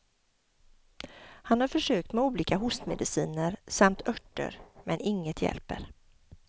Han har försökt med olika hostmediciner samt örter, men inget hjälper.